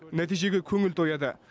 нәтижеге көңіл тояды